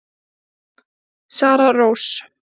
Sara Rós.